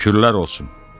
Şükürlər olsun.